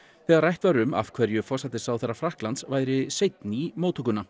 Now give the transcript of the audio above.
þegar rætt var um af hverju forsætisráðherra Frakklands væri seinn í móttökuna